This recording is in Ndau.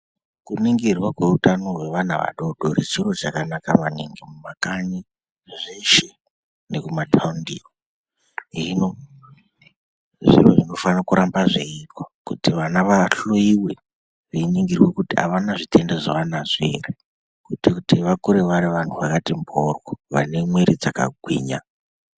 Kuningirwa kweutano hwevana vadodori chiro chakanaka maningi mumakanyi zveshe nekumataundiyo hino zviro zvinofana kuramba zveiitwa kuti vahloyiwe veiningirwe kuti avana zvitenda zvavanazvo ere kuitire kuti vakure vari vantu vakati mhoryo vane mwiri dzakati